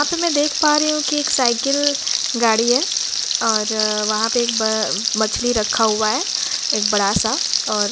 यहा पे मैं देख पा रही हूं एक साइकिल गाड़ी है। और वहा पर एक ब मछली रखा हुआ है एक बड़ा सा और --